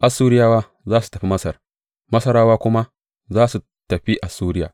Assuriyawa za su tafi Masar, Masarawa kuma za su tafi Assuriya.